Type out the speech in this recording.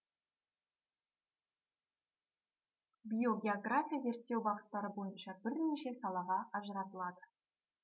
биогеография зерттеу бағыттары бойынша бірнеше салаға ажыратылады